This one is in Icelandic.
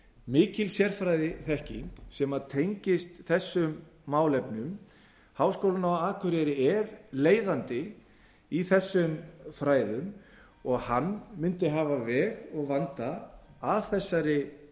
mikil sérfræðiþekking sem tengist þessum málefnum háskólinn á akureyri er leiðandi í þessum fræðum og hann mundi hafa veg og vanda af þessari